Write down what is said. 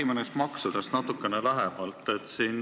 Räägime neist maksudest natukene lähemalt.